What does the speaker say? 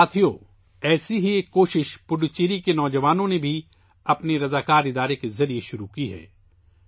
ساتھیو، ایسی ہی ایک کوشش پڈوچیری کے نوجوانوں نے بھی اپنی رضاکارانہ تنظیموں کے ذریعے شروع کی ہے